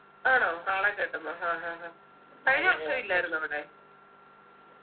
ആണോ കാളെ കെട്ടുന്നൊ ഹാ ഹാ ഹാ കഴിഞ്ഞ വർഷ ഇല്ലായിരുന്നോ അവിടെ